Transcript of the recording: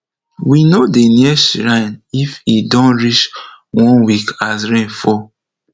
we no dey near shrine if e don reach one week as rain fall